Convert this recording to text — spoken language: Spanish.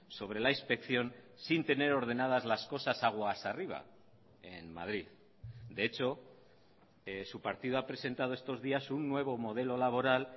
sobre la inspección sin tener ordenadas las cosas aguas arriba en madrid de hecho su partido ha presentado estos días un nuevo modelo laboral